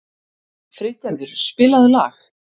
Friðgerður, spilaðu lag.